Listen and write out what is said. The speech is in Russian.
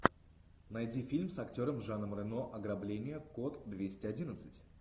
найди фильм с актером жаном рено ограбление код двести одиннадцать